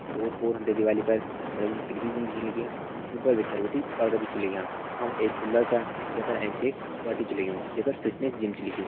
ओर पोर हम ते दिवाली पर बड़ी बड़ी खिड़की छन दिखेण लगीं जुं पर भितर बिटि पर्दा भी छ लग्यां यखा मा एक पिल्लर छा जै पर एंच एक टैटू छ लग्युं जै पर फिटनेस जिम छ लिख्युं।